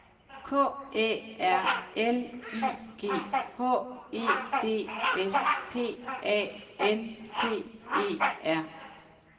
K Æ R L I G H E D S P A N T E R